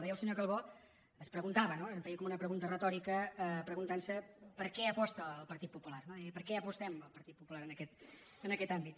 deia el senyor calbó es preguntava no es feia com una pregunta retòrica preguntantse per què aposta el partit popular deia ell per què apostem al partit popular en aquest àmbit